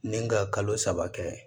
Ni ka kalo saba kɛ